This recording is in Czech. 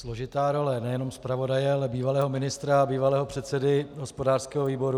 Složitá role nejenom zpravodaje, ale bývalého ministra a bývalého předsedy hospodářského výboru.